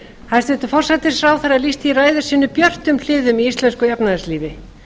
hæstvirtur forsætisráðherra lýsti í ræðu sinni björtum hliðum í íslensku efnahagslífi